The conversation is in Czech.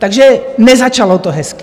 Takže nezačalo to hezky.